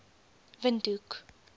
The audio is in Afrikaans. windhoek